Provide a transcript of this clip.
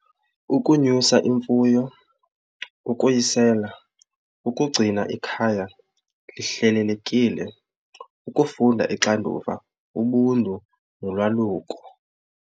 Ukunyusa imfuyo, ukuyisela, ukugcina ikhaya lihlelelekile, ukufunda ixanduva, ubuntu nolwaluko.